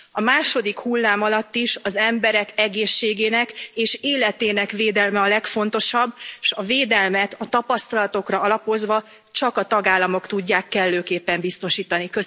A második hullám alatt is az emberek egészségének és életének védelme a legfontosabb, és a védelmet a tapasztalatokra alapozva, csak a tagállamok tudják kellőképpen biztosítani.